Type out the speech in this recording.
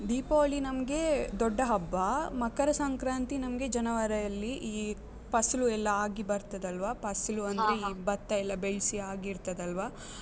ದೀಪಾವಳಿ ನಮ್ಗೆ ದೊಡ್ಡ ಹಬ್ಬ, ಮಕರ ಸಂಕ್ರಾಂತಿ ನಮ್ಗೆ ಜನವರಿಯಲ್ಲಿ ಈ ಪಸ್ಲು ಎಲ್ಲ ಆಗಿ ಬರ್ತದಲ್ವಾ, ಪಸಲು ಅಂದ್ರೆ ಈ ಭತ್ತ ಎಲ್ಲ ಬೆಳ್ಸಿ ಆಗಿರ್ತದಲ್ವಾ.